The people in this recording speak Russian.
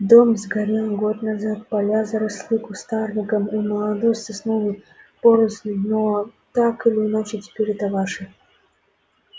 дом сгорел год назад поля заросли кустарником и молодой сосновой порослью но так или иначе теперь это ваше